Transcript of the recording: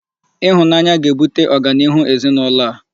Ịhụnanya ga-ebute ọganihu ezinụlọ a